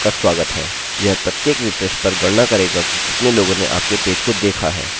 यह प्रत्येक रिफ्रेशrefreshपर गणना करेगा कि कितने लोगों ने आपके पेज को देखा है